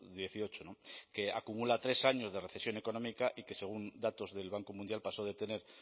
dieciocho que acumula tres años de recesión económica y que según datos del banco mundial pasó de tener